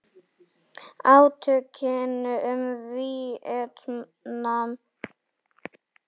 Átökin um Víetnam